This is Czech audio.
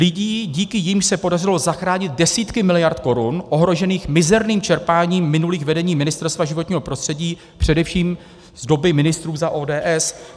Lidí, díky nimž se podařilo zachránit desítky miliard korun ohrožených mizerným čerpáním minulých vedení Ministerstva životního prostředí, především z doby ministrů za ODS.